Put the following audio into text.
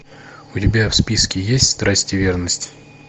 у тебя в списке есть страсть и верность